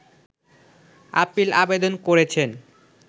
appeal আবেদন করেছেন